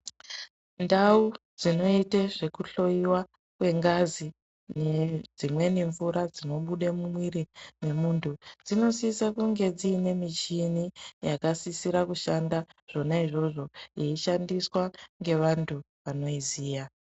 Ndau dzinoitwe zvekuhloyiwe kwengazi nedzimwe mvura dzinobuda mumwiri memundu dzinosisa kunge dziine michiini yakasise kushanda izvona izvozvo yeyishandiswa ngevantu vanoiziya.